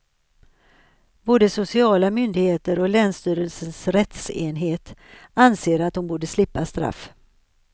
Både sociala myndigheter och länsstyrelsens rättsenhet anser att hon borde slippa straff.